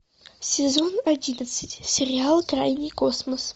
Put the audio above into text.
сезон одиннадцать сериал крайний космос